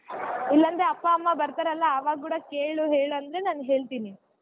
ಇಲ್ಲಾಂದ್ರೆ ಅಪ್ಪಾ ಅಮ್ಮಾ ಬರ್ತಾರಲಾ ಆವಾಗ ಕೂಡಾ ಕೇಳು ಹೇಳು ಅಂದ್ರೆ ನಾ ಹೇಳ್ತೀನಿ.